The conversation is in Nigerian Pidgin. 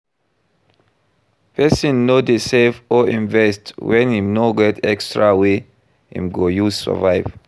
Persin no de save or invest when im no get extra wey I'm go use survive